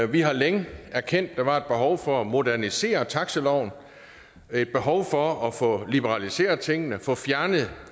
vi har længe erkendt at der var behov for at modernisere taxiloven et behov for at få liberaliseret tingene få fjernet